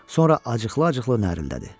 Sonra acıqlı-acıqlı narıldadı.